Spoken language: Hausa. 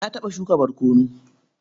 Na taɓa shuka barkono.